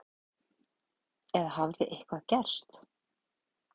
Eða hafði eitthvað gerst?